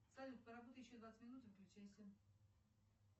салют поработай еще двадцать минут и выключайся